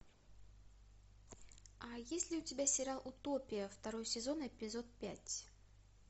а есть ли у тебя сериал утопия второй сезон эпизод пять